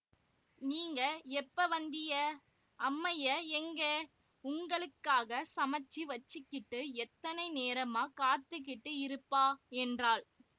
நீங்க எப்ப வந்திய அம்மெயெ எங்கே உங்களுக்காகச் சமைச்சு வச்சிக்கிட்டு எத்தனை நேரமாக் காத்துக்கிட்டு இருப்பா என்றாள்